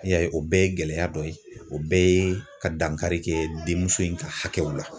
N'i y'a ye o bɛɛ ye gɛlɛya dɔ ye o bɛɛ ye ka dankari kɛ denmuso in ka hakɛw la.